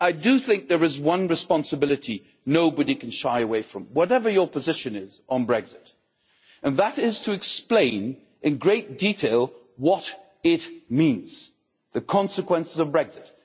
But I do think there is one responsibility nobody can shy away from, whatever your position is on Brexit, and that is to explain in great detail the consequences of Brexit.